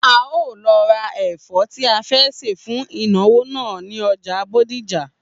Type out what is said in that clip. A óò lo̩ ra è̩fó̩ tí a fé̩ sè fún ìnàwó náà ní o̩jà Bódìjà